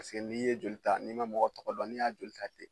n'i ye joli ta n'i ma mɔgɔw tɔgɔ dɔn n'i y'a joli ta ten